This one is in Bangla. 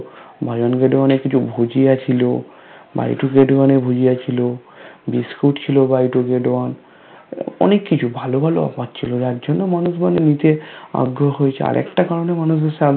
get one এ কিছু ভুজিয়া ছিল Buy two get one এ ভুজিয়া ছিল বিস্কুট ছিল Buy two get one অনেক কিছু ভালো ভালো অফার ছিল যার জন্য মানুষ মানে নিতে আগ্রহ হয়েছে, আরেকটা কারণে মানুষের